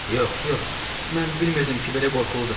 Yox, yox, mən bilmirdim ki, belə qorxuludur.